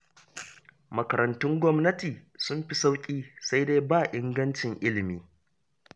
Makarantun gwamnati sun fi sauƙi, sai dai ba ingancin ilimi